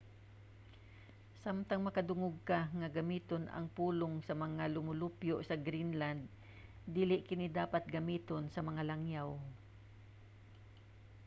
samtang makadungog ka nga gamiton ang pulong sa mga lumulupyo sa greenland dili kini dapat gamiton sa mga langyaw